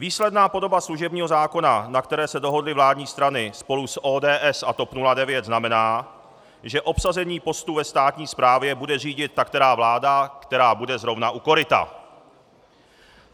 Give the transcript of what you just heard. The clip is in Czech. Výsledná podoba služebního zákona, na které se dohodly vládní strany spolu s ODS a TOP 09, znamená, že obsazení postů ve státní správě bude řídit ta která vláda, která bude právě u koryta.